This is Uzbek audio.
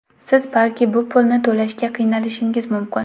Siz balki bu pulni to‘lashga qiynalishingiz mumkin.